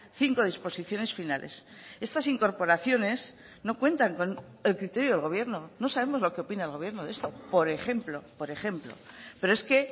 cinco disposiciones finales estas incorporaciones no cuentan con el criterio del gobierno no sabemos lo que opina el gobierno de esto por ejemplo por ejemplo pero es que